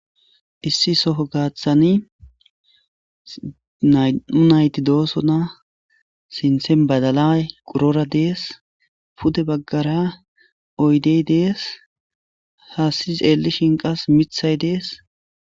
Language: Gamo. issi soho gaaththani nay7u nayti doosona sinthen badalay qurora dees pude baggara oydey dees haassis xeelishin qas mithay dees